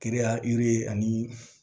Kiriya yiri ani